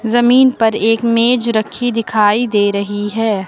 जमीन पर एक मेज रखी दिखाई दे रही है।